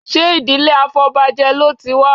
Ṣé ìdílé afọbajẹ ló ti wá?